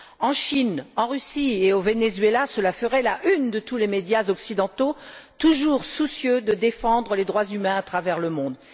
En Chine, en Russie et au Venezuela, cela ferait la une de tous les médias occidentaux, toujours soucieux de défendre les droits humains à travers le monde.